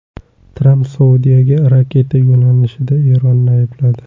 Tramp Saudiyaga raketa yo‘llanishida Eronni aybladi.